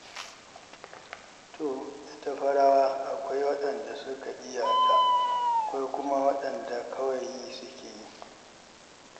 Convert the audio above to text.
To! Ita fa rawa akwai waɗanda suka iya ta, akwai kuma waɗanda kawai yi suke yi.